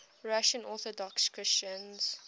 russian orthodox christians